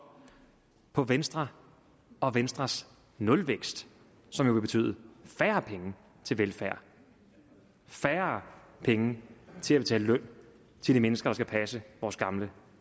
på venstre og venstres nulvækst som jo vil betyde færre penge til velfærd færre penge til at betale løn til de mennesker der skal passe vores gamle